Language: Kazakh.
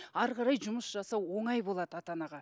ары қарай жұмыс жасау оңай болады ата анаға